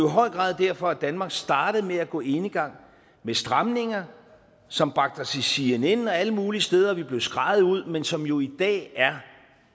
i høj grad derfor danmark startede med at gå enegang med stramninger som bragte os i cnn og alle mulige steder vi blev skreget ud men som jo i dag er